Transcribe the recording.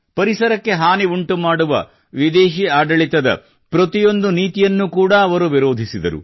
ಪರಿಸರಕ್ಕೆ ಹಾನು ಉಂಟು ಮಾಡುವ ವಿದೇಶೀ ಆಡಳಿತ ಪ್ರತಿಯೊಂದು ನೀತಿಯನ್ನು ಕೂಡಾ ಅವರು ವಿರೋಧಿಸಿದರು